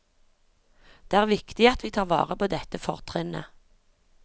Det er viktig at vi tar vare på dette fortrinnet.